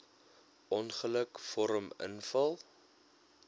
ongeluk vorm invul